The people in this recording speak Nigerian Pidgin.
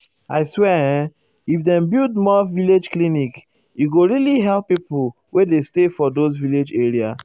i swear[um]if dem build more village clinic e go really help pipo wey dey stay for those village area.